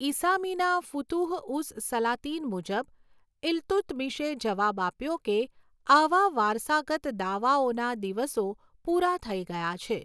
ઇસામીના ફુતુહ ઉસ સલાતિન મુજબ, ઇલ્તુત્મિશે જવાબ આપ્યો કે આવા વારસાગત દાવાઓના દિવસો પૂરા થઈ ગયા છે.